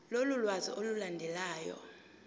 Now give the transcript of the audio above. lolu lwazi olulandelayo